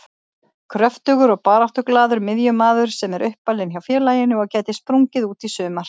Kröftugur og baráttuglaður miðjumaður sem er uppalinn hjá félaginu og gæti sprungið út í sumar.